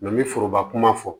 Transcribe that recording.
n bɛ foroba kuma fɔ